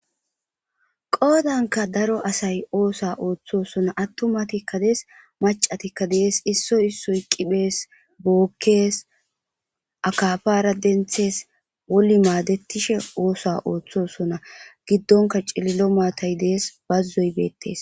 qoodanka daro asay oosa ooththosona attumatikka dees macatikka dees issoy issoy qiphees bookkes akafara denthees woli maadettishe oosa ooththosona giddonka cililo maatay dees bazzoy beettes